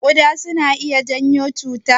Kuɗa suna iya janyo cuta?